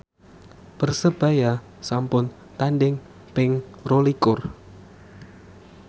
Persebaya sampun tandhing ping rolikur